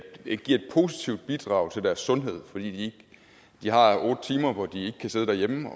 et positivt bidrag til deres sundhed fordi de har otte timer hvor de ikke kan sidde derhjemme